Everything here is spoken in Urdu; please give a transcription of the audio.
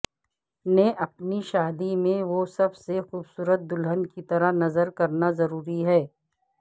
نے اپنی شادی میں وہ سب سے خوبصورت دلہن کی طرح نظر کرنا ضروری ہے